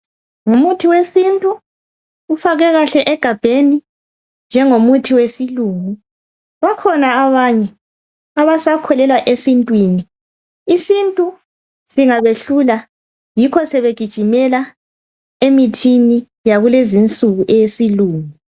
Ngumuthi wesintu ufakwe kahle egabheni njengomuthi wesilungu. Bakhona abanye abasakholelwa esintwini. Isintu singabehlula yikho sebegijimela emithini yakulezinsuku eyesilungu.